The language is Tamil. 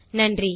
நன்றி